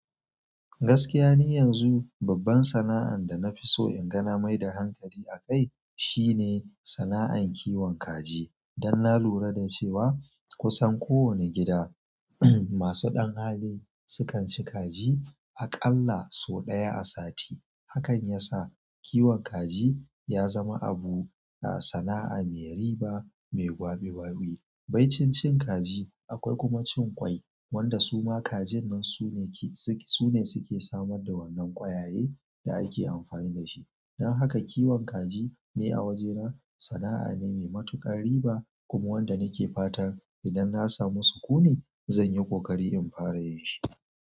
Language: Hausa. Gaskiya ni yanzu babban sana'an da na fi so inga na mai da hankali akai, shine sana'an kiwon kaji. Dan na lura da cewa kusan ko wani gida, masu ɗan hali sukan ci kaji aƙalla sau ɗaya a sati. Hakan ya sa kiwon kaji ya zama abu, sana'a mai riba mai ƙwaɓi ƙwaɓi. Bai cin cin kaji akwai kuma cin ƙwai, wanda suma kajin nan su ne suke samar da wannan kwayaye da ake amfani dashi. Dan haka kiwon kaji ne a wajena sana'a ne mai matuƙar riba kuma wanda nake fatan idan na samu sukuni zan yi ƙoƙari in fara yin shi.